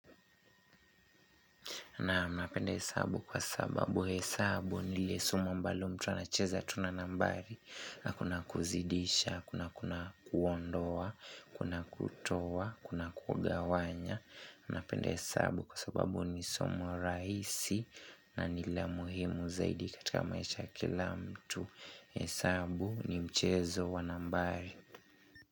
Naam napenda hesabu kwa sababu hesabu ni ile somo ambalo mtu anacheza tu na nambari na kuna kuzidisha, kuna kuondoa, kuna kutowa, kuna kugawanya napenda hesabu kwa sababu ni somo rahisi na ni la muhimu zaidi katika maisha ya kila mtu. Hesabu ni mchezo wa nambari.